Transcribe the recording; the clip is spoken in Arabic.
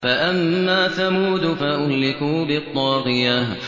فَأَمَّا ثَمُودُ فَأُهْلِكُوا بِالطَّاغِيَةِ